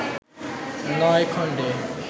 নয় খন্ডে